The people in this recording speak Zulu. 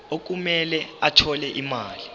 okumele athole imali